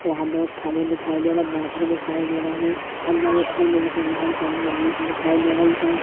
वहां लोग खडे दिखाई दे रहे बैठे दिखाई दे रहे और बहोत जन बनी दिखाई दे रहे है।